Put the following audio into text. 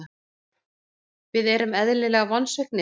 Við erum eðlilega vonsviknir.